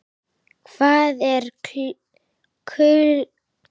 Hvað er kulnun í starfi?